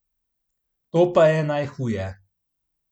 To je pa najhuje.